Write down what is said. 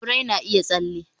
a, birai na iya tsalle